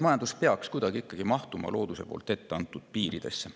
Majandus peaks mahtuma kuidagi looduse poolt ette antud piiridesse.